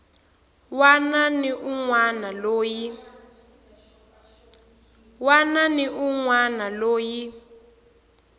wana ni un wana loyi